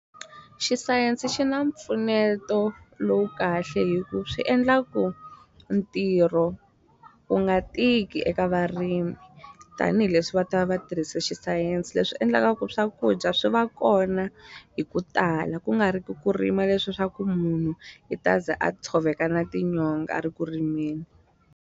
Xisayense xi na mpfuneto lowu kahle hi ku swi endla ku ntirho ku nga tiki eka varimi tanihileswi va ta va va tirhise xisayense leswi endlaka ku swakudya swi va kona hi ku tala ku nga ri ku ku rima leswa swa ku munhu i ta ze a tshoveka na tinyonga a ri ku rimeni.